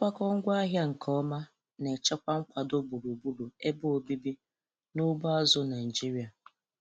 Nkwakọ ngwaahịa nke ọma na-echekwa nkwado gburugburu ebe obibi na ugbo azụ̀ Naịjiria.